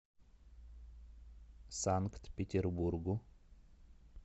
санкт петербургу